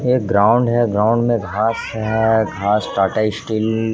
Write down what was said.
एक ग्राउंड है ग्राउंड में घास है घास टाटा स्टील --